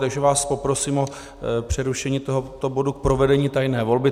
Takže vás poprosím o přerušení tohoto bodu k provedení tajné volby.